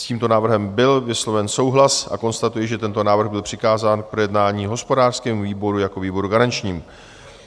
S tímto návrhem byl vysloven souhlas a konstatuji, že tento návrh byl přikázán k projednání hospodářskému výboru jako výboru garančnímu.